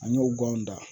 An y'o ganw da